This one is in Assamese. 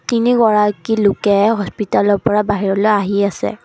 তিনিগৰাকী লোকে হপিতালৰ পৰা বাহিৰলৈ আহি আছে।